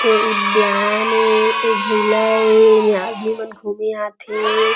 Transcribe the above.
ए उद्यान हे ए झूला हे एमे आदमी मन घूमे आथे।